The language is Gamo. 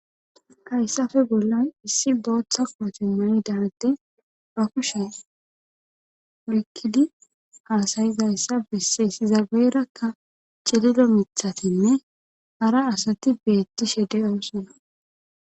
hayssafe bolloy issi booththa qooti mayi daante rafushe rikkidi haasayizayssa besse sizageerakka cilido mithatinne hara asati beetti shede doossona